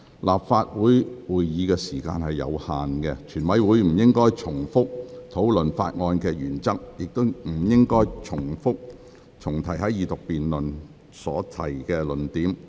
立法會會議時間有限，全體委員會不應重複討論法案的原則，亦不應重提在二讀辯論已提出的論點。